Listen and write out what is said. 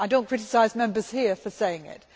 I do not criticise Members here for saying it.